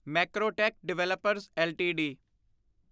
Macrotech Developers LTD